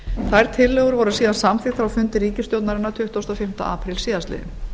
þær tillögur voru síðan samþykktar á fundi ríkisstjórnarinnar tuttugasta og fimmta apríl síðastliðinn